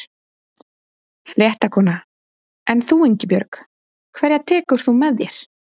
Fréttakona: En þú Ingibjörg, hverja tekur þú með þér?